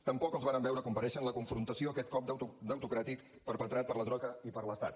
tampoc els vàrem veure comparèixer en la confrontació aquest cop debitocràtic perpetrat per la troica i per l’estat